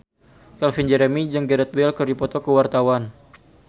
Calvin Jeremy jeung Gareth Bale keur dipoto ku wartawan